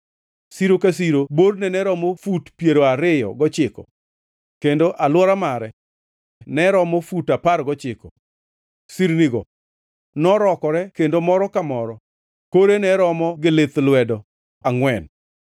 Siro ka siro borne ne romo fut piero ariyo gochiko kendo alwora mare ne romo fut apar gochiko; sirnigo norokore kendo moro ka moro kore ne romo gi lith lwedo angʼwen.